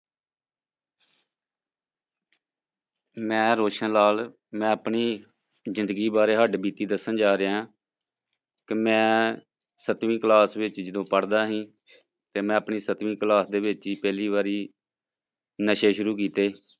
ਮੈਂ ਰੌਸ਼ਨ ਲਾਲ ਮੈਂ ਆਪਣੀ ਜ਼ਿੰਦਗੀ ਬਾਰੇ ਹੱਡਬੀਤੀ ਦੱਸਣ ਜਾ ਰਿਹਾਂ ਕਿ ਮੈਂ ਸੱਤਵੀਂ class ਵਿੱਚ ਜਦੋਂ ਪੜ੍ਹਦਾ ਸੀ, ਤੇ ਮੈਂ ਆਪਣੀ ਸੱਤਵੀਂ class ਦੇ ਵਿੱਚ ਹੀ ਪਹਿਲੀ ਵਾਰੀ ਨਸ਼ੇ ਸ਼ੁਰੂ ਕੀਤੇ।